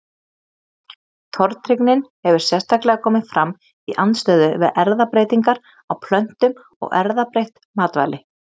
Tortryggnin hefur sérstaklega komið fram í andstöðu við erfðabreytingar á plöntum og erfðabreytt matvæli.